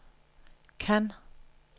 Cannes